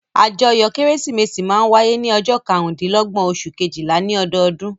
Àjọyọ̀ Kérésìmesì máa ń wáyé ní ọjọ́ karùndínlọ́gbọ́n oṣù kejìlá ní ọdọọdún.